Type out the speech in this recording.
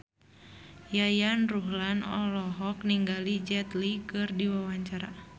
Yayan Ruhlan olohok ningali Jet Li keur diwawancara